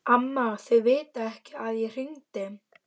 Amma, þau vita ekki að ég hringdi.